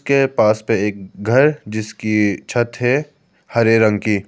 के पास पे एक घर जिसकी छत है हरे रंग की।